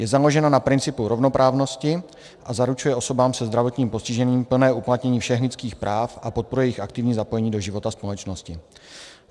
Je založena na principu rovnoprávnosti a zaručuje osobám se zdravotním postižením plné uplatnění všech lidských práv a podporuje jejich aktivní zapojení do života společnosti.